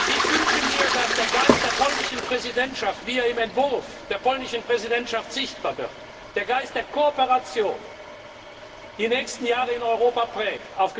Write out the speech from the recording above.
Entwurf. Ich wünsche mir, dass der Geist der polnischen Präsidentschaft, wie er im Entwurf der polnischen Präsidentschaft sichtbar wird, der Geist der Kooperation, die nächsten Jahre in Europa